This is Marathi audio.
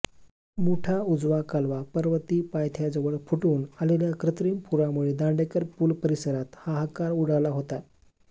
मुठा उजवा कालवा पर्वती पायथ्याजवळ फुटून आलेल्या कृत्रिम पुरामुळे दांडेकर पूल परिसरात हाहाकार उडाला होता